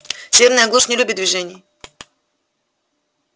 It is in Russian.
северная глушь не любит движения